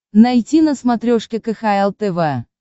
найти на смотрешке кхл тв